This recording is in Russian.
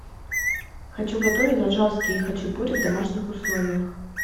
хочу готовить аджарские хачапури в домашних условиях